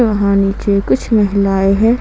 वहां नीचे कुछ महिलाएं हैं।